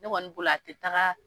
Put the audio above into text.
Ne kɔni bolo a tɛ taaga.